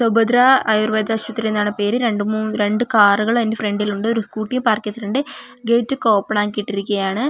സുഭദ്ര ആയുർവേദ ആശുപത്രി എന്നാണ് പേര് രണ്ട് മൂ രണ്ട് കാറുകൾ അതിൻ്റെ ഫ്രണ്ടിൽ ഉണ്ട് ഒരു സ്കൂട്ടിയും പാർക്ക് ചെയ്തിട്ടുണ്ട് ഗേറ്റ് ഒക്കെ ഓപ്പൺ ആക്കിയിട്ടിരിക്കുകയാണ്.